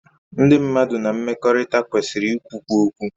Ndị mmadụ na mmekọrịta kwesịrị ikwukwu okwu